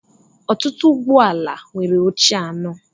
ọtụtụ ụgbọ ala nwere oche anọ